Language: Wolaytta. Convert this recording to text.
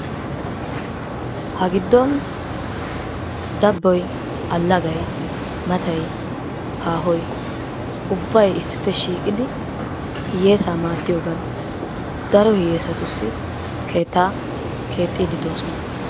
Ha giddon dabboy, allagay, matay, haahoy ubbay issippe shiiqidi hiyyeesaa maaddiyogan daro hiyyeesatussi keettaa keexxiiddi de'oosona.